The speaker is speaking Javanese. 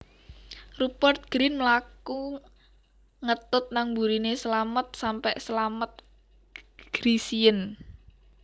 Rupert Grin mlaku ngetut nang mburine Slamet sampe Slamet grisien